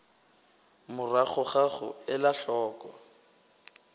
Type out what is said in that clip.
morago ga go ela hloko